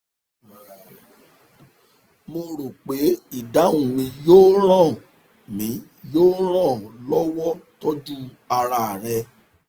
mo rò pé ìdáhùn mi yóò ràn mi yóò ràn ọ́ lọ́wọ́ tọ́jú ara rẹ